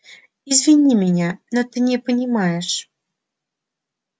извини меня но ты не понимаешь